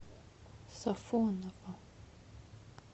сафоново